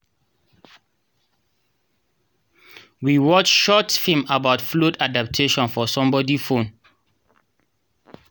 we watch short film about flood adaptation for somebody phone